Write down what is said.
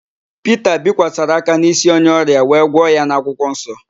Pita bikwasara aka n'ísí onye ọrịa wee gwọ ya n'akwụkwọnsọ.